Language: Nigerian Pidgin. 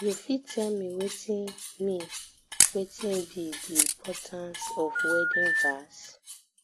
you fit tell me wetin me wetin be di importance of wedding vows